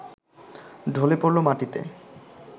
ঢলে পড়ল মাটিতে